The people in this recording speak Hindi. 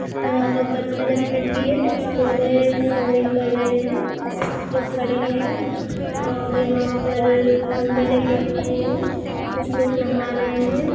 यहाँ पर पत्थर-वत्थर भी है कुछ लोग है स्विमिंग कर रहे है कुछ लोग खड़े है और यहाँ पर खंभे लगे हुए है कुछ लोग नहा रहे है ।